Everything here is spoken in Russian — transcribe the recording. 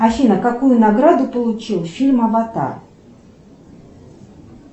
афина какую награду получил фильм аватар